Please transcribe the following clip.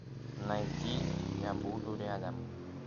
найти я буду рядом